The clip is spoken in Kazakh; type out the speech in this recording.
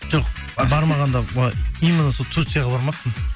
жоқ ы бармағанда былай именно сол турцияға бармаппын